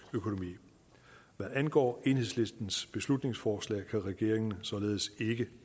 økonomi hvad angår enhedslistens beslutningsforslag kan regeringen således ikke